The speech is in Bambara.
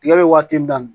Tigɛ bɛ waati da